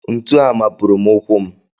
Ntu a mapuru m ụkwụ m